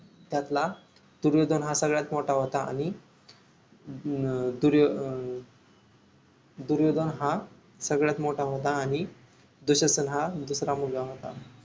त्यातला दुर्योधन हा सगळ्यात मोठा होता आणि अं दूर्यो अं दूर्योदन हा सगळ्यात मोठा होता आणि दुःशासन हा दुसरा मुलगा होता